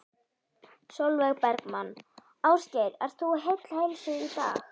Sólveig Bergmann: Ásgeir, ert þú heill heilsu í dag?